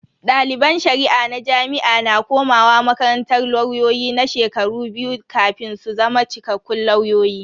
Daliban Shari'a na jami'a na komawa makarantar lauyoyi na shekaru biyu kafin su zama cikakkun lauyoyi.